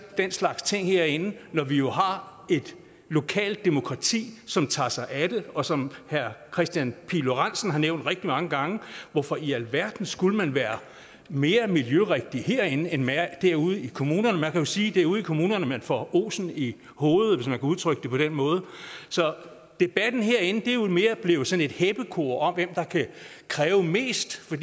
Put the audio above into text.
den slags ting herinde når vi jo har et lokalt demokrati som tager sig af det og som herre kristian pihl lorentzen har nævnt rigtig mange gange hvorfor i alverden skulle man være mere miljørigtig herinde end man er derude i kommunerne man kan jo sige at det er ude i kommunerne man får osen i hovedet hvis man kan udtrykke det på den måde så debatten herinde er mere blevet sådan et heppekor om hvem der kan kræve mest for